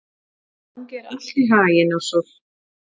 Gangi þér allt í haginn, Ársól.